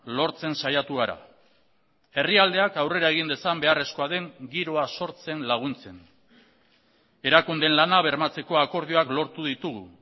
lortzen saiatu gara herrialdeak aurrera egin dezan beharrezkoa den giroa sortzen laguntzen erakundeen lana bermatzeko akordioak lortu ditugu